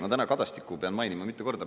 Ma täna Kadastikku pean mainima mitu korda.